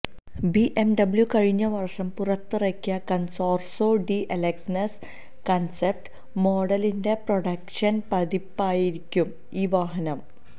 BMW കഴിഞ്ഞ വര്ഷം പുറത്തിറക്കിയ കണ്സോര്സോ ഡി എലഗന്സ കണ്സെപ്റ്റ് മോഡലിന്റെ പ്രൊഡക്ഷന് പതിപ്പായിരിക്കും ഈ വാഹനം